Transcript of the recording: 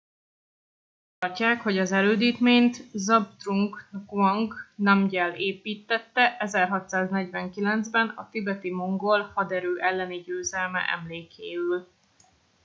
úgy tartják hogy az erődítményt zhabdrung ngawang namgyel építtette 1649 ben a tibeti mongol haderő elleni győzelme emlékéül